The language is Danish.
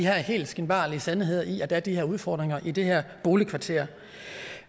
helt skinbarlige sandhed at der er de her udfordringer i det her boligkvarter